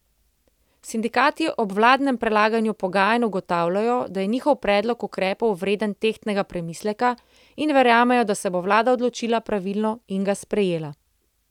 Sindikati ob vladnem prelaganju pogajanj ugotavljajo, da je njihov predlog ukrepov vreden tehtnega premisleka, in verjamejo, da se bo vlada odločila pravilno in ga sprejela.